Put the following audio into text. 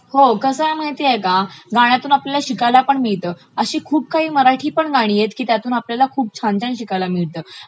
हो कसं आहे माहितेय का गाण्यातुन आपल्याला शिकायलं पण मिळतं. अशी खूप काही मराठीपण गाणी आहेत की ज्याच्या तून आपल्याला खूप छान छान शिकायला पण मिळतं.